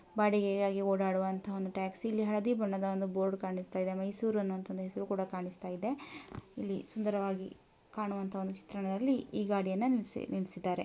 ಬಾಡಿಗೆಗಾಗಿ ಓಡಾಡುವಂತಹ ಒಂದು ಟ್ಯಾಕ್ಸಿಯಲ್ಲಿ ಹಳದಿ ಬಣ್ಣದ ಬೋರ್ಡ್ ಕಾಣಿಸುತ್ತಾ ಇದೆ ಅದು ಮೈಸೂರು ಅಂತ ಹೆಸರು ಕೂಡ ಕಾಣಿಸುತ್ತಿದೆ ಸುಂದರವಾಗಿ ಕಾಣುವಂತಹ ಒಂದು ಚಿತ್ರಣದಲ್ಲಿ ಈ ಗಾಡಿಯನ್ನು ನಿಲ್ಲಿಸಿದ್ದಾರೆ.